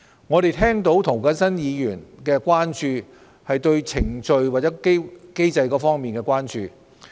我們察悉涂謹申議員對相關程序和機制的關注。